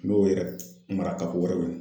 N'o yɛrɛ mara ka wɛrɛ ɲini.